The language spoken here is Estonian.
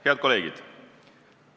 Head kolleegid!